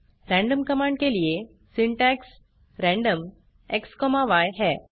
random command के लिए syntax random xय है